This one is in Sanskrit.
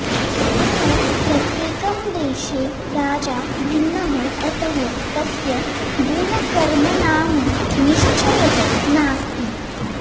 यतः प्रत्येकं देशे राजा भिन्नः अतः तस्य गुणकर्मणां निश्चयः नास्ति